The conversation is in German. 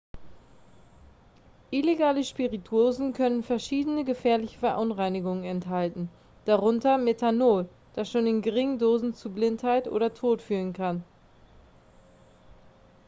illegale spirituosen können verschiedene gefährliche verunreinigungen enthalten darunter methanol das schon in geringen dosen zu blindheit oder tod führen kann